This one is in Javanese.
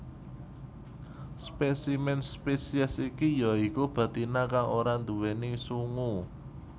Spesimen spesies iki ya iku betina kang ora nduwèni sungu